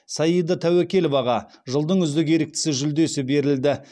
саида тәуекеловаға жылдың үздік еріктісі жүлдесі берілді